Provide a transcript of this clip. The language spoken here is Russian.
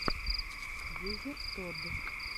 дезертод